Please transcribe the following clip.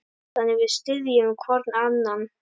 Þannig við styðjum hvorn annan.